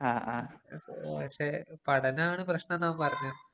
ആ ആപക്ഷേ പഠനമാണ് പ്രശ്നം എന്നവന്‍ പറഞ്ഞു.